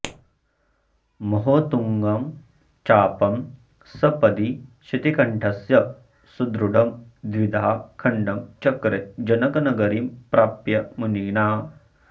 महोत्तुङ्गं चापं सपदि शितिकण्ठस्य सुदृढं द्विधा खण्डं चक्रे जनकनगरीं प्राप्य मुनिना